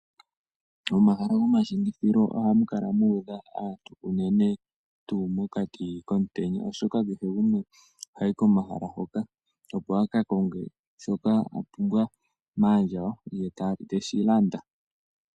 Momahala gomashingithilo ohamu kala mu udha aantu unene tuu mokati komutenya oshoka kehe gumwe ohayi komahala hoka opo a ka konge shoka a pumbwa maandjawo ye teshi landa.